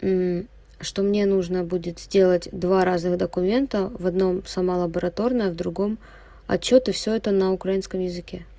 что мне нужно будет сделать два разных документа в одном сама лабораторная в другом отчёты всё это на украинском языке